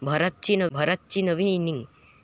भरतची नवी इनिंग!